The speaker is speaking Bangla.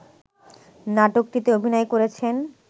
নাটকটিতে অভিনয় করেছেন